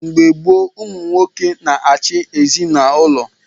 Mgbe gboo, ụmụ nwoke na-achị ezinaụlọ.